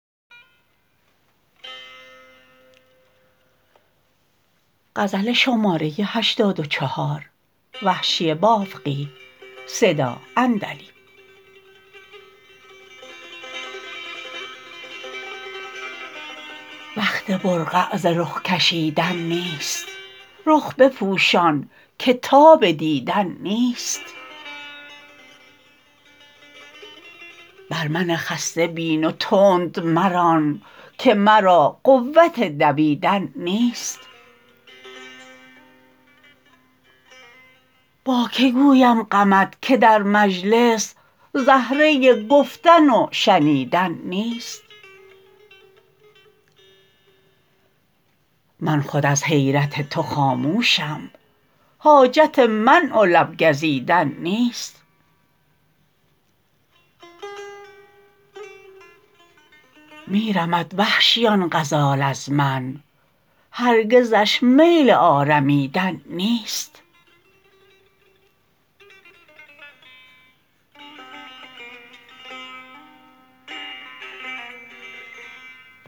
وقت برقع ز رخ کشیدن نیست رخ بپوشان که تاب دیدن نیست بر من خسته بین و تند مران که مرا قوت دویدن نیست با که گویم غمت که در مجلس زهره گفتن وشنیدن نیست من خود از حیرت تو خاموشم حاجت منع و لب گزیدن نیست میرمد وحشی آن غزال از من هرگزش میل آرمیدن نیست